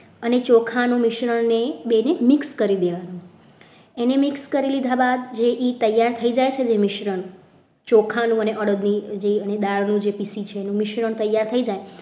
અને ચોખાના મિશ્રણને બેને mix કરી લેવાનું એને mix કરી લીધા બાદ જે ખીરું તૈયાર થઈ જાય છે મિશ્રણ ચોખાનું અને અડદનું જે જે દાળ હોય છે જે પીસી છે મિશ્રણ તૈયાર થઈ જાય.